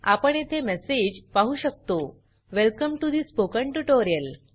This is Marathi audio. आपण येथे मेसेज पाहु शकतो welcome to the spoken tutorial